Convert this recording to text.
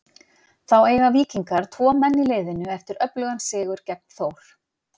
Þá eiga Víkingar tvo menn í liðinu eftir öflugan sigur gegn Þór.